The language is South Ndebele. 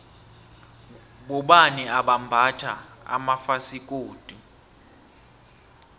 bobani abambatha amafasikodu